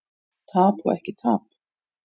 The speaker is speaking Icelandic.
Tap og ekki tap?